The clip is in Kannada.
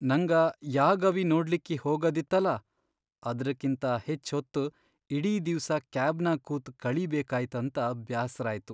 ನಂಗ ಯಾ ಗವಿ ನೋಡ್ಲಿಕ್ಕಿ ಹೋಗದಿತ್ತಲಾ ಅದ್ರಕಿಂತಾ ಹೆಚ್ಚ್ ಹೊತ್ತ್ ಇಡೀ ದಿವ್ಸ ಕ್ಯಾಬ್ನ್ಯಾಗ್ ಕೂತ್ ಕಳೀಬೇಕಾಯ್ತಂತ ಬ್ಯಾಸ್ರಾಯ್ತು.